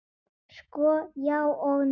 Sko, já og nei.